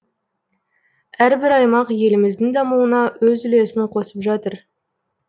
әрбір аймақ еліміздің дамуына өз үлесін қосып жатыр